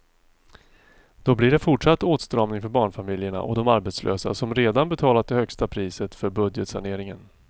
Då blir det fortsatt åtstramning för barnfamiljerna och de arbetslösa som redan betalat det högsta priset för budgetsaneringen.